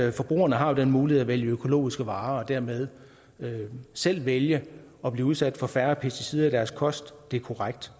at forbrugerne har den mulighed at vælge økologiske varer og dermed selv vælge at blive udsat for færre pesticider i deres kost det er korrekt